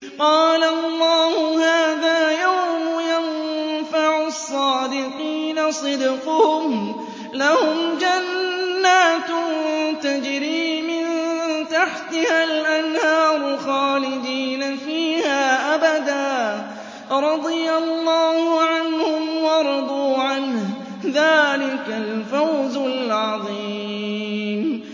قَالَ اللَّهُ هَٰذَا يَوْمُ يَنفَعُ الصَّادِقِينَ صِدْقُهُمْ ۚ لَهُمْ جَنَّاتٌ تَجْرِي مِن تَحْتِهَا الْأَنْهَارُ خَالِدِينَ فِيهَا أَبَدًا ۚ رَّضِيَ اللَّهُ عَنْهُمْ وَرَضُوا عَنْهُ ۚ ذَٰلِكَ الْفَوْزُ الْعَظِيمُ